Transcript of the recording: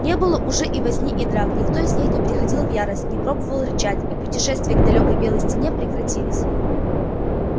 не было уже и возни и драк никто из них не приходил в ярость не пробовал рычать и путешествия к далёкой белой стене прекратились